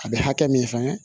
A bɛ hakɛ min sɛgɛn